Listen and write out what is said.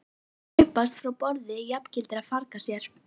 Að hlaupast frá borði jafngildir að farga sér.